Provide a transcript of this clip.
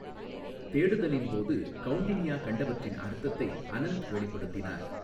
தேடுதலின் போது கௌண்டின்யா கண்டவற்றின் அர்த்தத்தை அனந்த் வெளிப்படுத்தினார்.